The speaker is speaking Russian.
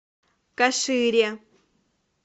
кашире